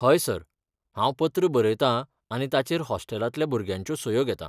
हय सर, हांव पत्र बरयतां आनी ताचेर हॉस्टेलांतल्या भुरग्यांच्यो सयो घेतां.